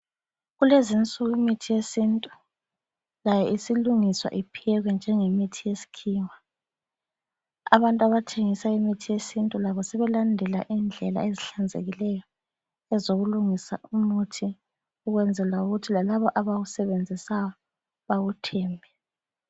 Kulezinsuku imithi yesintu layo isilungiswa iphekwe njenge mithi yesikhiwa, abantu abathengisa imithi yesintu labo sebelandela indlela ezihlanzekileyo ezokulungisa umuthi ukwenzela ukuthi lalabo abawusebenzisayo bawuthenge.